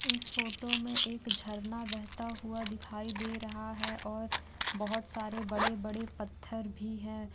इस फोटो में एक झरना बहता हुआ दिखाई दे रहा है और बहोत सारे बड़े-बड़े पत्थर भी है।